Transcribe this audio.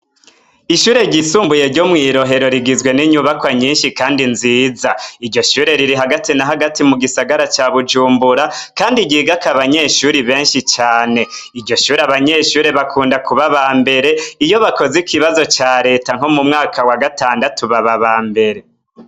Ishure ryisumbuye ryo mw'i Rohero rigizwe n'inyubakwa nyinshi kandi nziza. Iryo shure riri hagati na hagati mu gisagara ca Bujumbura, kandi ryigako abanyeshure benshi cane. Iryo shure abanyeshure bakunda kuba aba mbere, iyo bakoze ikibazo ca Reta nko mu mwaka wa gatandatu baba aba mbere.